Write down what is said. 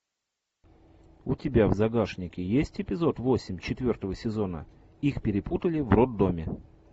у тебя в загашнике есть эпизод восемь четвертого сезона их перепутали в роддоме